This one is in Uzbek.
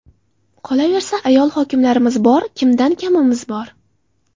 Qolaversa, ayol hokimlarimiz bor, kimdan kamimiz bor.